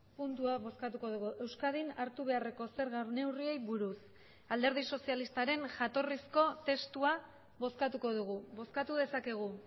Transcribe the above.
puntua bozkatuko dugu euskadin hartu beharreko zerga neurriei buruz alderdi sozialistaren jatorrizko testua bozkatuko dugu bozkatu dezakegu